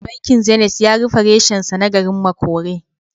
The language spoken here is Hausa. Bankin Zenith ya rufe reshensa na garin Makole.